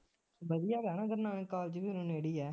ਵਧੀਆ ਹੈਗਾ ਨਾ ਗੁਰੂ ਨਾਨਕ college ਵੀ ਹੁਣ ਨੇੜੇ ਆ